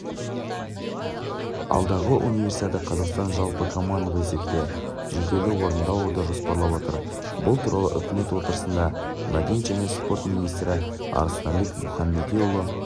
алдағы универсиада қазақстан жалпы командалық есепте жүлделі орынды алуды жоспарлап отыр бұл туралы үкімет отырысында мәдениет және спорт министрі арыстанбек мұхамедиұлы